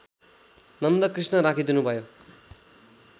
Nandakrishna राखिदिनुभयो